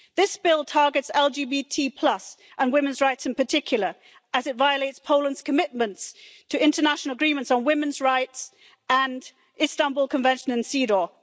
This bill targets LGBT and women's rights in particular, as it violates Poland's commitments to international agreements on women's rights, the Istanbul Convention and CEDAW.